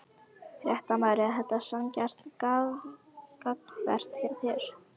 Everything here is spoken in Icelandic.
Fréttamaður: Er þetta sanngjarnt gagnvart þér?